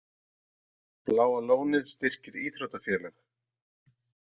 Bláa lónið styrkir íþróttafélög